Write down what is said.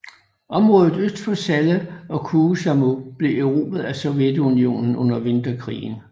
Området øst for Salla og Kuusamo blev erobret af Sovjetunionen under Vinterkrigen